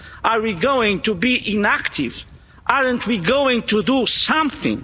Are we going to be inactive? Aren't we going to do something?